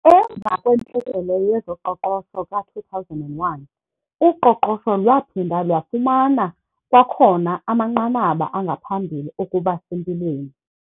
Emva kwentlekele yezoqoqosho ka-2001, uqoqosho lwaphinda lwafumana kwakhona amanqanaba angaphambili okuba sempilweni.